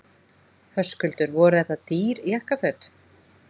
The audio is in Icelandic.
Höskuldur: Voru þetta dýr jakkaföt?